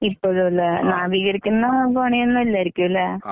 ഇപ്പഴുംല്ലെ നവീകരിക്കുന്ന പണിയൊന്നും ഇല്ലായിരിക്കുംല്ലെ?